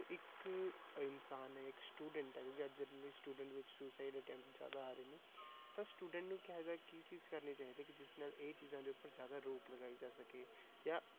ਇੱਕ ਇਨਸਾਨ ਹੈ ਇੱਕ student ਹੈ ਕਿਉਂਕਿ ਅੱਜ ਦੇ student ਵਿੱਚ suicide attempt ਜ਼ਿਆਦਾ ਆ ਰਹੇ ਨੇ, ਤਾਂ student ਨੂੰ ਇਹ ਜਿਹਾ ਕੀ ਚੀਜ਼ ਕਰਨੀ ਚਾਹੀਦੀ ਹੈ ਕਿ ਜਿਸ ਨਾਲ ਇਹ ਚੀਜ਼ਾਂ ਦੇ ਉੱਪਰ ਜ਼ਿਆਦਾ ਰੋਕ ਲਗਾਈ ਜਾ ਸਕੇ ਜਾਂ